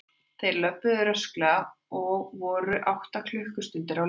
Þeir löbbuðu rösklega og voru um átta klukkustundir á leiðinni.